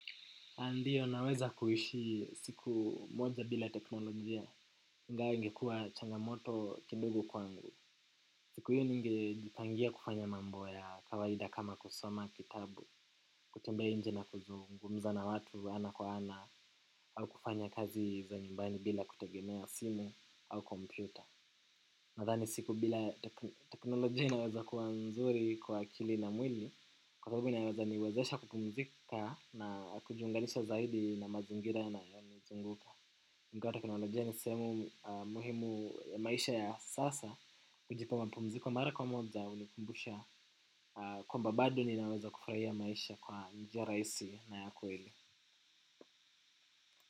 Ah ndiyo naweza kuishi siku moja bila teknolojia ingawa ingekua changamoto kidogo kwangu. Siku hiyo ningejipangia kufanya mambo ya kawaida kama kusoma kitabu, kutembea nje na kuzungumzana watu ana kwa ana au kufanya kazi za nyumbani bila kutegemea simu au kompyuta. Nadhani siku bila teknolojia inaweza kuwa mzuri kwa akili na mwili, kwa sababu inaweza niwezesha kupumzika na kujiunganisha zaidi na mazingira yanayotuzunguka ingawa teknolojia ni sehemu muhimu ya maisha ya sasa, kujipa mapumziko mara kwa moja, hunikumbusha, kwamba bado ninaweza kufurahia maisha kwa njia rahisi na ya kweli.